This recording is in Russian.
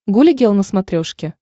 гуля гел на смотрешке